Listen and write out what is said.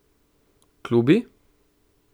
Klubi?